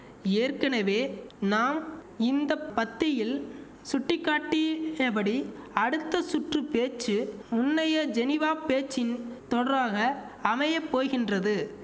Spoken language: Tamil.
ஏற்கெனவே நாம் இந்த பத்தியில் சுட்டிக்காட்டியபடி அடுத்த சுற்று பேச்சு முன்னைய ஜெனிவாப் பேச்சின் தொடராக அமைய போகின்றது